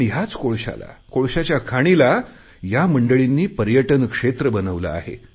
पण याच कोळशाला कोळशाच्या खाणीला या मंडळींनी पर्यटन क्षेत्र बनवले आहे